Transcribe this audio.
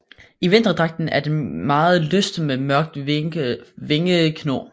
I vinterdragten er den meget lys med mørk vingekno